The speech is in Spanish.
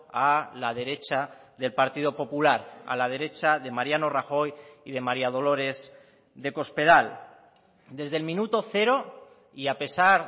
a la derecha del partido popular a la derecha de mariano rajoy y de maría dolores de cospedal desde el minuto cero y a pesar